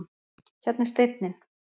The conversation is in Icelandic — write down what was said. Hérna er steinninn.